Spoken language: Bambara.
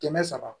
Kɛmɛ saba